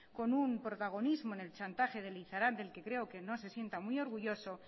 con un protagonismo en el chantaje de lizaran del que creo que no se sienta muy orgulloso